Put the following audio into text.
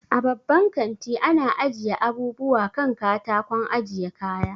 A babban kanti ana ajiye abubuwa kan katakon ajiye kaya